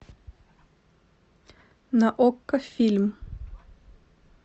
на окко фильм